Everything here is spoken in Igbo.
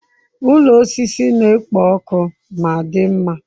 Ụlọ osisi na-ekpo ọkụ ma dị mma.